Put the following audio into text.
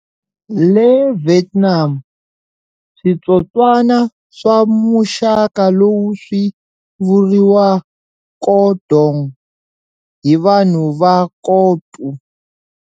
Le Vietnam, switsotswana swa muxaka lowu swi vuriwa co dong hi vanhu va Co Tu.